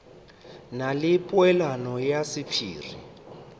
na le polelwana ya sephiri